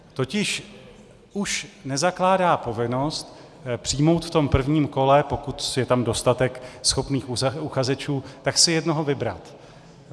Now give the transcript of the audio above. Totiž už nezakládá povinnost přijmout v tom prvním kole, pokud je tam dostatek schopných uchazečů, tak si jednoho vybrat.